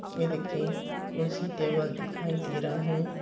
ये देखिए कुर्सी टेबल दिखाई दे रहा हैं।